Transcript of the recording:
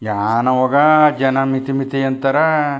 ಯಾನ ಹೋಗಾಣ ಜನ ಮಿತಿ ಮಿತಿ ಅಂತಾರೆ.